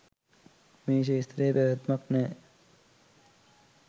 මේ ක්ෂේත්‍රයේ පැවැත්මක් නෑ.